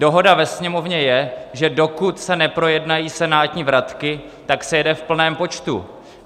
Dohoda ve Sněmovně je, že dokud se neprojednají senátní vratky, tak se jede v plném počtu.